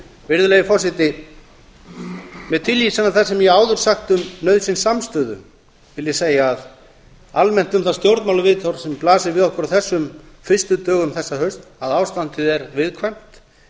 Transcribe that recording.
virðulegi forseti með tilvísan í það sem ég hef áður sagt um nauðsyn samstöðu vil ég segja almennt um það stjórnmálaviðhorf sem blasir við okkur á þessum fyrstu dögum þessa hausts að ástandið er viðkvæmt